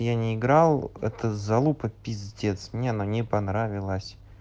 и я не играл это за лупа пиздец мне оно не понравилось